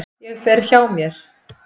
Ég fer hjá mér.